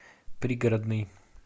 пригородный